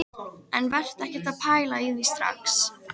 En vertu ekkert að pæla í því strax.